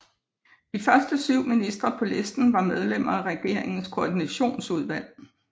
De første 7 ministre på listen var medlemmer af Regeringens Koordinationsudvalg